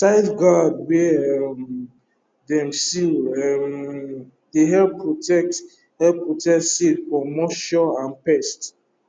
tight gourd wey um dem seal um dey help protect help protect seed from moisture and pest